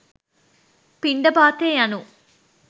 පිණ්ඩපාතය යනු